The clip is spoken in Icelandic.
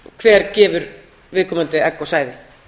hver gefur viðkomandi egg og sæði